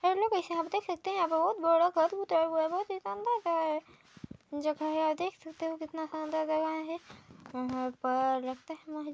यहाँ पर देख सकते हैं बहोत ही शानदार जगह हैं आप देख सकते हो कितना शानदार जगह हैं यहाँ पर लगता हैं।